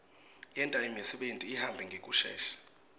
yenta imisebeni ihambe ngekushesha